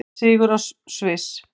Sigur á Sviss